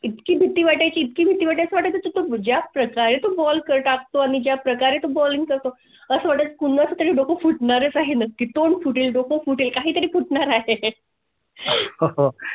मग इतकी भीती वाटाय ची इतकी भीती वाटाय ज्या प्रकारे तो ball टाकतो आणि ज्या प्रकारे तो balling करतो असा वाटे कुणाचातरी डोकं काळू फुटणार हे नक्की. तोंड फुटेल डोकं फुटेल काही तरी फुटणार आहे ते.